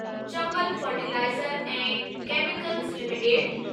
Chambal fertiliser ऐं chemicals limited